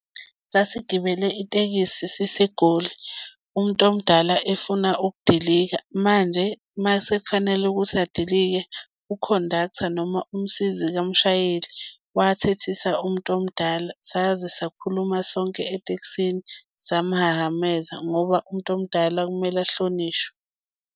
Sasigibele itekisi siseGoli, umuntu omdala efuna ukudilika. Manje uma sekufanele ukuthi adilike u-conductor noma umsizi kamshayeli wayethethisa umuntu omdala saze sakhuluma sonke etekisini samuhahameza ngoba umuntu omdala kumele ahlonishwe.